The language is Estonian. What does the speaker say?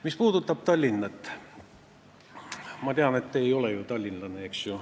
Mis puudutab Tallinna, siis ma tean, et teie ei ole ju tallinlane.